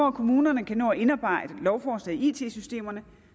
at kommunerne kan nå at indarbejde lovforslaget i it systemerne